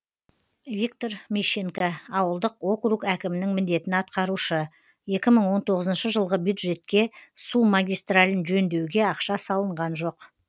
виктор мищенко ауылдық округ әкімінің міндетін атқарушы екі мың он тоғызыншы жылғы бюджетке су магистралін жөндеуге ақша салынған жоқ